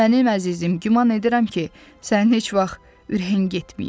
Mənim əzizim, güman edirəm ki, sənin heç vaxt ürəyin getməyib.